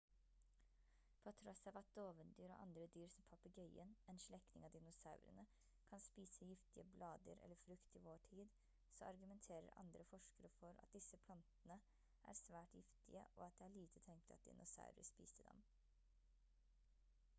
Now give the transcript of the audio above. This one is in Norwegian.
på tross av at dovendyr og andre dyr som papegøyen en slektning av dinosaurene kan spise giftige blader eller frukt i vår tid så argumenterer andre forskere for at disse plantene er svært giftige og at det er lite tenkelig at dinosaurer spiste dem